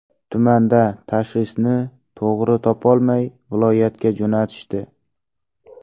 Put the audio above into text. Tumanda tashxisni to‘g‘ri topolmay, viloyatga jo‘natishdi.